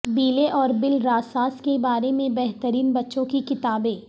بیلے اور بالراساس کے بارے میں بہترین بچوں کی کتابیں